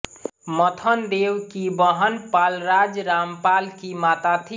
मथनदेव की बहन पालराज रामपाल की माता थी